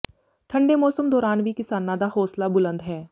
ਠੰਡੇ ਮੌਸਮ ਦੌਰਾਨ ਵੀ ਕਿਸਾਨਾਂ ਦਾ ਹੌਂਸਲਾ ਬੁਲੰਦ ਹੈ